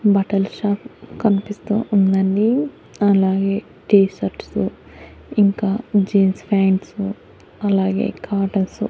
బట్టల షాపు కన్పిస్తూ ఉందండి అలాగే టీషర్ట్సు ఇంకా జీన్స్ ప్యాయింట్సు అలాగే కాటన్సు --